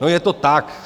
No, je to tak.